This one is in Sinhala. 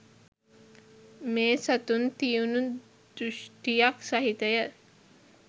මේ සතුන් තියුණු දෘෂ්ඨියක් සහිතය